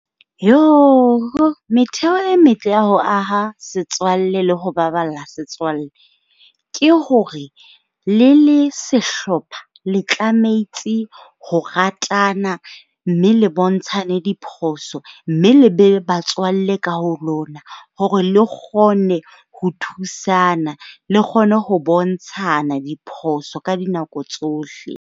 Metheo e metle ya ho aha setswalle le ho baballa setswalle, ke hore le le sehlopha le tlametse ho ratana mme le bontshane diphoso, mme le be batswalle ka ho lona. Hore le kgone ho thusana le kgone ho bontshana diphoso ka dinako tsohle.